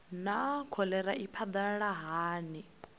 naa kholera i phadalala hani